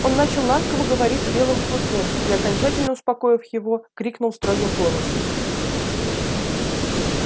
он начал ласково говорить с белым клыком и окончательно успокоив его крикнул строгим голосом